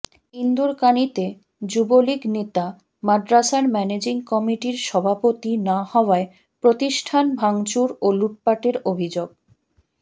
ইন্দুরকানীতে যুবলীগ নেতা মাদ্রাসার ম্যানেজিং কমিটির সভাপতি না হওয়ায় প্রতিষ্ঠান ভাংচুর ও লুটপাটের অভিযোগ